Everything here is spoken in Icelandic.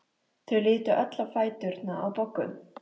Þau litu öll á fæturna á Boggu.